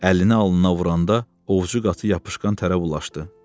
Əlini alnına vuranda oşıqatı yapışqan tərə bulaşdı.